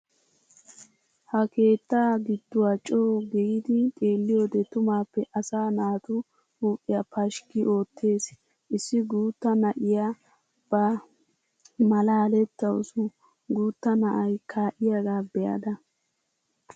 Ha keettaa giduwa coo giidi xeeliyode tumaappe asaa naatu huuphiya pashikk oottees, Issi guutta na'iya ba malaalettawusu guutta na'ay kaa'iyaga be'ada.